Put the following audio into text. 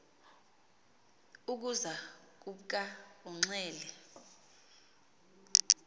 ukuza kubka unxele